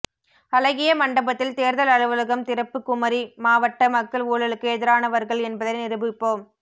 அழகியமண்டபத்தில் தேர்தல் அலுவலகம் திறப்பு குமரி மாவட்ட மக்கள் ஊழலுக்கு எதிரானவர்கள் என்பதை நிரூபிப்போம்